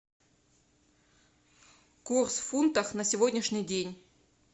курс фунтов на сегодняшний день